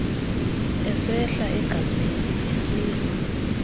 esehla egazini esilwa